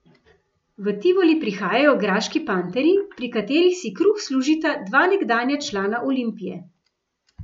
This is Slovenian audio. V Tivoli prihajajo graški panterji, pri katerih si kruh služita dva nekdanja člana Olimpije.